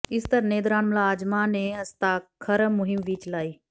ਇਸ ਧਰਨੇ ਦੌਰਾਨ ਮੁਲਾਜ਼ਮਾਂ ਨੇ ਹਸਤਾਖਰ ਮੁਹਿੰਮ ਵੀ ਚਲਾਈ